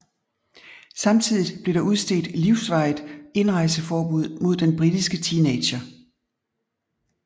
Samtidig blev der udstedt livsvarigt indrejseforbud mod den britiske teenager